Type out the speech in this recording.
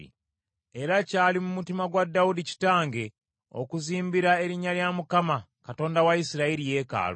“Era kyali mu mutima gwa Dawudi kitange okuzimbira erinnya lya Mukama , Katonda wa Isirayiri yeekaalu.